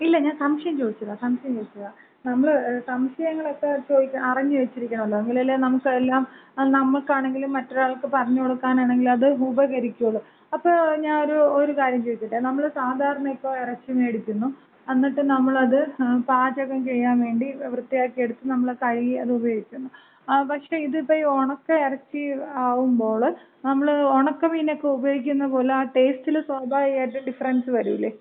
ഇല്ല. ഞാൻ സംശയം ചോദിച്ചതാ. സംശയം ചോദിച്ചതാ. നമ്മള് സംശയങ്ങളക്ക ചോദി അറിഞ്ഞ് വച്ചിരിക്കണല്ലോ? എങ്കിലല്ലേ നമുക്ക് എല്ലാം, നമുക്കാണെങ്കിലും മറ്റൊരാൾക്ക് പറഞ്ഞുകൊടുക്കാനാണെങ്കിലും അത് ഉപകരിക്കോള്ളൂ. അപ്പൊ ഞാനൊരു ഒരു കാര്യം ചോദിച്ചോട്ടെ? നമ്മള് സാധാരണ ഇപ്പൊ ഇറച്ചി മേടിക്കുന്നു. എന്നിട്ട് നമ്മളത് പാചകം ചെയ്യാന്‍ വേണ്ടി വൃത്തിയാക്കി എടുത്ത് നമ്മള് കഴുകി അത് ഉപയോഗിക്കുന്നു. പക്ഷേ ഇതിപ്പോ ഈ ഒണക്ക ഇറച്ചി ആകുമ്പോള് നമ്മള് ഉണക്കമീനക്ക ഉപയോഗിക്കുന്ന പോലെ ആ ടേസ്റ്റില് സ്വാഭാവികമായിട്ടും ഡിഫറൻസ് വരൂലേ?